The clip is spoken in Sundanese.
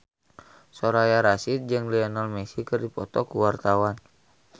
Soraya Rasyid jeung Lionel Messi keur dipoto ku wartawan